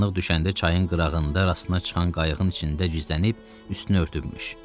Qaranlıq düşəndə çayın qırağında rastına çıxan qayığın içində gizlənib üstünü örtübmüş.